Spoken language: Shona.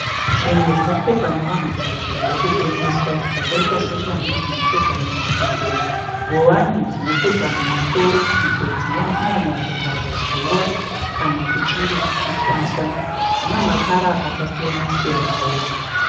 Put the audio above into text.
Zvinhu zvinopfekwa nevanhukadzi zviri kutengeswa zvakaita seshangu dzinopfekwa mumakumbo, nguwani dzinopfekwa mumusoro idzo dzinonyanya vhara zuva kana kuchinge kuchisa. Dzina makara akasiyana siyanawo.